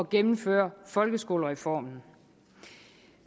gennemføre folkeskolereformen